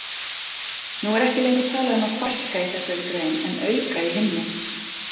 Nú er ekki lengur talað um að fækka í þessari grein en auka í hinni.